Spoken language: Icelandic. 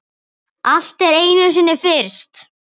Allt er einu sinni fyrst.